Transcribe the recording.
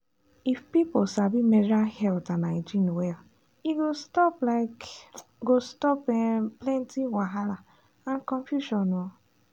if people sabi menstrual health and hygiene well e go stop um go stop um plenty wahala and confusion. um